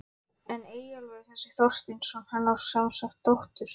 En Eyjólfur þessi Þorsteinsson, hann á semsagt dóttur